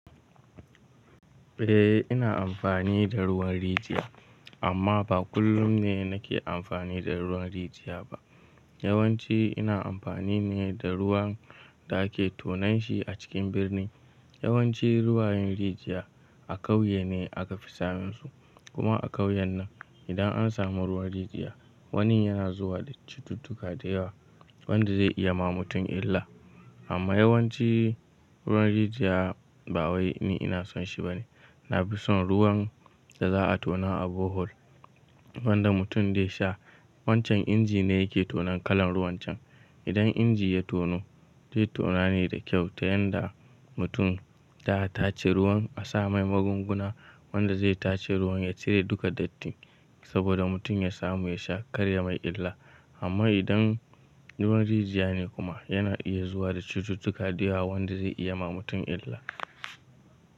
Eh, ina amfani da ruwan rijiya amma ba kullum ne nake amfani da ruwan rijiya ba. Yawanci ina amfani ne da ruwan da ake tonan shi a cikin birni. Yawanci ruwan rijiya a kauye ne aka fi samun su. Kuma a kauyen nan idan an samu ruwan rijiya, wani yana zuwa da cututtuka da yawa wanda zai iya ma mutum illa. Amma yawanci ruwan rijiya ba wai ni ina son shi ba ne. Na fi son ruwan da za a tona a bohol wanda mutum zai sha. Wancan inji ne yake tonon kalan ruwan can. Idan inji ya tono zai tona ne da kyau ta yanda mutum ta tace ruwan a sa mai magunguna wanda zai tace ruwan ya cire duka datti saboda mutum ya samu ya sha kar ya mai illa. Amma idan ruwan rijiya ne kuma yana iya zuwa da cututtuka da yawa wanda zai iya ma mutum illa.